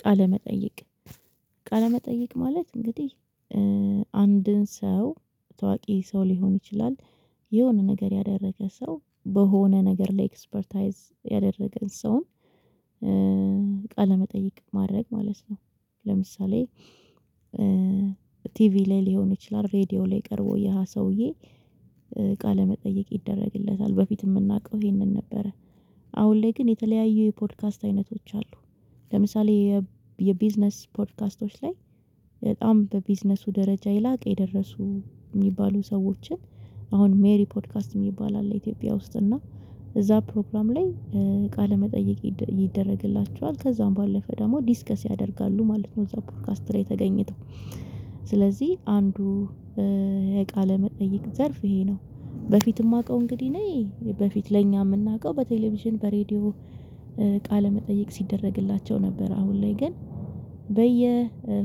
ቃለ መጠየቅ ቃለ መጠየቅ ማለት እንግዲህ አንድን ሰው ታዋቂ ሰው ሊሆን ይችላል የሆነ ነገር ያደረገ ሰው በሆነ ነገር ላይ ኤክስፐርታይዝ ያደረገን ሰውን ቃለመጠይቅ ማድረግ ማለት ነው። ለምሳሌ ቲቪ ላይ ሊሆን ይችላል ሬዲዮ ላይ ቀርቦ ያ ሰውዬ ቃለ መጠየቅ ይደረግለታል በፊት የምናውቀው ይሄንን ነበረ። አሁን ላይ ግን የተለያዩ የፖድካስት አይነቶች አሉ። ለምሳሌ የቢዝነስ ፖድካስቶች ላይ በጣም በቢዝነሱ ደረጃ የላቀ የደረሱ የሚባሉ ሰዎችን አሁን ሜሪ ፖድካስት የሚባል አለ ኢትዮጵያ ውስጥ እና እዛ ፕሮግራም ላይ ቃለ መጠየቅ ይደረግላቸዋል ከዛም ባለፈ ደግሞ ዲስከስ ያደርጋሉ ማለት ነው። እዛ ፖድካስት ላይ ተገኝተው ስለዚህ አንዱ የቃለ መጠይቅ ዘርፍ ይሄ ነው በፊት የማውቀው እንግዲህ እኔ በፊት ለኛ የምናውቀው በቴሌቪዥን በሬዲዮ ቃለ መጠየቅ ሲደረግላቸው ነበር አሁን ላይ ግን በየ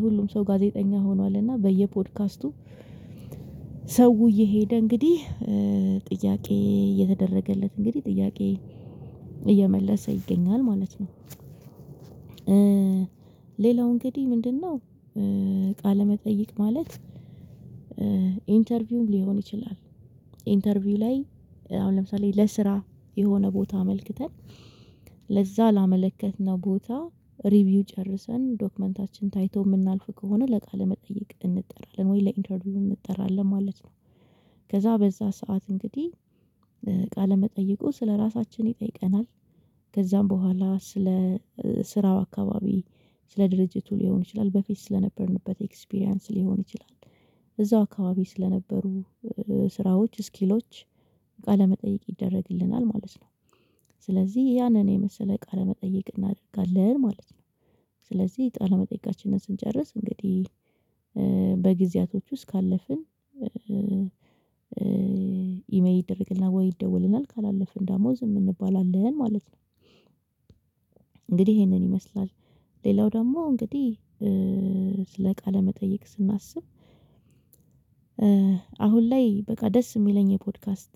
ሁሉም ሰው ጋዜጠኛ ሆኗል እና በየ ፖድካስቱ ሰው እየሄደ እንግዲህ ጥያቄ እየተደረገለት እንግዲህ ጥያቄ እየመለሰ ይገኛል ማለት ነው። ሌላው እንግዲህ ምንድነው? ቃለመጠየቅ ማለት ኢንተርቪውም ሊሆን ይችላል ኢንተርቪው ላይ አሁን ለምሳሌ ለስራ የሆነ ቦታ አመልክተን ለዛ ላመለከትነው ቦታ ሪቪው ጨርሰን ዶክመንታችን ታይቶ የምናልፍ ከሆነ ለቃለ መጠየቅ እንጠራለን ወይ ለኢንተርቪው እንጠራለን ማለት ነው። ከዛ በዛ ሰዓት እንግዲህ ቃለመጠይቁ ስለራሳችን ይጠይቀናል ከዛም በኋላ ስለ ስራው አካባቢ ስለ ድርጅቱ ሊሆን ይችላል በፊት ስለነበርንበት ኤክስፒሪያንስ ሊሆን ይችላል እዛው አካባቢ ስለነበሩ ስራዎች ስኪሎች ቃለመጠየቅ ይደረግልናል ማለት ነው። ስለዚህ ያንን የመሰለ ቃለ መጠየቅ እናደርጋለን ማለት ነው። ስለዚህ ቃለ መጠየቃችንን ስንጨርስ እንግዲህ በጊዜያቶች ውስጥ ካለፍን ኢሜል ይደረግልናል ወይ ይደወልልናል ካላለፍን ደግሞ ዝም እንባላለን ማለት ነው። እንግዲህ ይሄንን ይመስላል ሌላው ደግሞ እንግዲህ ለቃለ መጠየቅ ስናስብ አሁን ላይ በቃ ደስ የሚለኝ የፖድካስት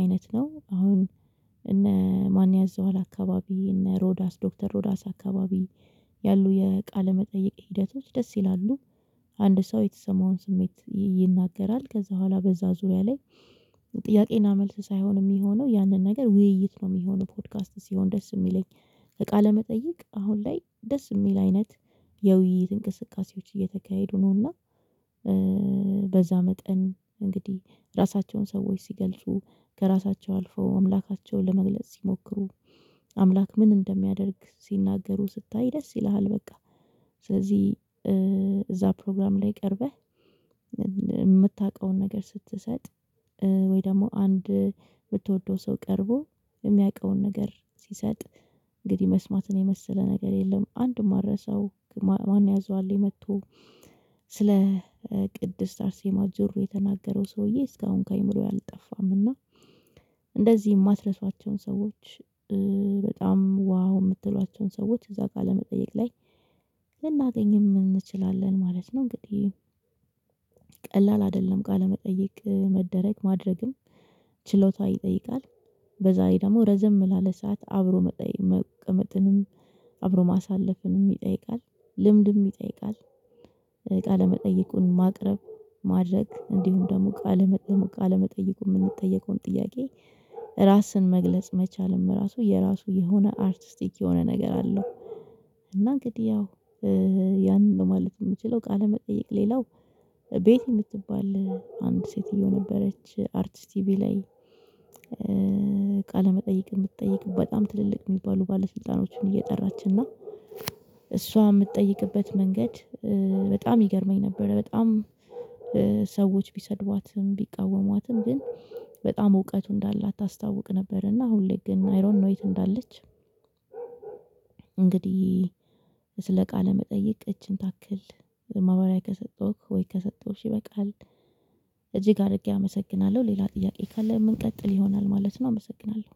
አይነት ነው። አሁን እነ ማንያዘዋል አካባቢ እነ ሮዳስ ዶክተር ሮዳስ አካባቢ ያሉ የቃለ መጠይቅ ሂደቶች ደስ ይላሉ አንድ ሰው የተሰማውን ስሜት ይናገራል ከዛ በኋላ በዛ ዙሪያ ላይ ጥያቄና መልስ ሳይሆን የሚሆነው ያንን ነገር ውይይት ነው የሚሆነው ፖድካስት ሲሆን ደስ የሚለኝ ቃለ መጠይቅ አሁን ላይ ደስ የሚል አይነት የውይይት እንቅስቃሴዎች እየተካሄዱ ነውና። በዛ መጠን እንግዲህ ራሳቸውን ሰዎች ሲገልጹ ከራሳቸው አልፈው አምላካቸውን ለመግለጽ ሲሞክሩ አምላክ ምን እንደሚያደርግ ሲናገሩ ስታይ ደስ ይልሃል በቃ ስለዚህ እዛ ፕሮግራም ላይ ቀርበህ የምታውቀውን ነገር ስትሰጥ ወይ ደግሞ አንድ የምትወደው ሰው ቀርቦ የሚያውቀውን ነገር ሲሰጥ እንግዲህ መስማትን የመሰለ ነገር የለም። አንድ የማልረሳው ማንያዘዋል ላይ መጥቶ ስለ ቅድስት አርሴማ ጆሮ የተናገረው ሰውዬ እስካሁን ከእምሮዬ አልጠፋም እና እንደዚህ የማትረሷቸውን ሰዎች በጣም ዋው የምትሏቸውን ሰዎች እዛ ቃለመጠየቅ ላይ ልናገኝም እንችላለን ማለት ነው። እንግዲህ ቀላል አይደለም ቃለመጠየቅ መደረግ ማድረግም ችሎታ ይጠይቃል። በዛሬ ደግሞ ረዘም ላለ ሰዓት አብሮ መቅመጥንም አብሮ ማሳለፍንም ይጠይቃል ልምድም ይጠይቃል። ቃለመጠየቁን ማቅረብ ማድረግ እንዲሁም ደግሞ ቃለ መጠየቁን የምንጠየቀውን ጥያቄ ራስን መግለጽ መቻልም ራሱ የራሱ የሆነ አርቲስቲክ የሆነ ነገር አለው። እና እንግዲህ ያው ያንን ለማለት የምችለው ቃለመጠየቅ ሌላው ቤቲ የምትባል አንድ ሴትዮ ነበረች አርትስ ቲቪ ላይ ቃለመጠየቅ የምትጠይቅ በጣም ትልልቅ የሚባሉ ባለስልጣኖችን እየጠራች እና እሷ የምትጠይቅበት መንገድ በጣም ይገርመኝ ነበር። በጣም ሰዎች ቢሰድቧትም ቢቃወሟትም ግን በጣም እውቀቱ እንዳላት ታስታውቅ ነበር እና አሁን ላይ ግን አይ ዶንትኖ የት እንዳለች እንግዲህ ስለ ቃለ መጠየቅ እችን ታክል ማብራሪያ ከሰጠሁክ ወይ ከሰጠሁሽ ይበቃል። እጅግ አድርጌ አመሰግናለሁ ሌላ ጥያቄ ካለ ምንጠቅል ይሆናል ማለት ነው። አመሰግናለሁ